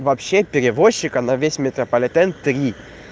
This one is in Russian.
вообще перевозчика на весь метрополитен три